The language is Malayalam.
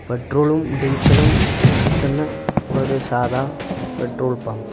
പെട്രോളും ഡീസലും കിട്ടുന്ന ഒരു സാധാ പെട്രോൾ പമ്പ് .